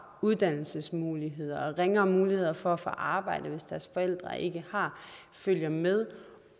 og uddannelsesmuligheder ringere muligheder for at få arbejde hvis deres forældre ikke har følger med